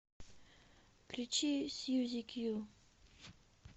включи сьюзи кью